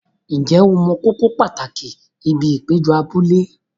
Ǹjẹ́ o mọ kókó pàtàkì ibi ìpéjọ abúlé?